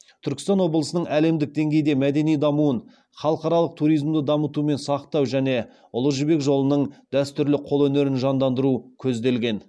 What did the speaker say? түркістан облысының әлемдік деңгейде мәдени дамуын халықаралық туризмді дамыту мен сақтау және ұлы жібек жолының дәстүрлі қолөнерін жандандыру көзделген